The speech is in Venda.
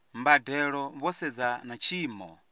mbadelo vho sedza na tshiimo